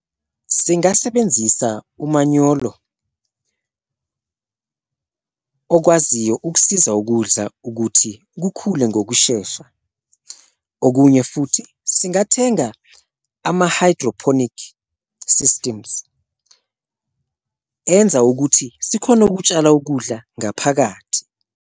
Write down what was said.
Singasebenzisa umanyolo okwaziyo ukusiza ukudla ukuthi kukhule ngokushesha, okunye futhi singathenga ama-hydroponic systems enza ukuthi sikhone ukutshala ukudla ngaphakathi.